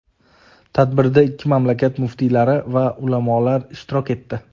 Tadbirda ikki mamlakat muftiylari va ulamolar ishtirok etdi.